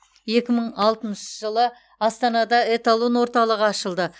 екі мың алтыншы жылы астанада эталон орталығы ашылды